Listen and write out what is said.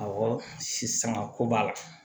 Awɔ sisanga ko b'a la